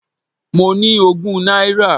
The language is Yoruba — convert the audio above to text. Mo ní ogún náírà.